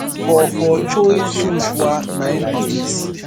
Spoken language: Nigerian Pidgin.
for for choi soonhwa na im be dis